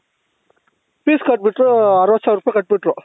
fees ಕಟ್ಬಿಟ್ರು ಅರವತ್ತು ಸಾವಿರ ರೂಪಾಯಿ ಕಟ್ಬಿಟ್ರು